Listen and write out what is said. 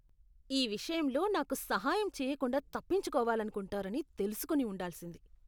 ఈ విషయంలో నాకు సహాయం చేయకుండా తప్పించుకోవాలనుకుంటారని తెలుసుకొని ఉండాల్సింది.